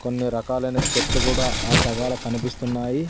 కొన్ని రకాలైన చెట్లు కూడా ఆ సగలా కనిపిస్తున్నాయి.